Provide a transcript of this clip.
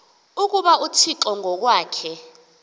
ukuba unguthixo ngokwakhe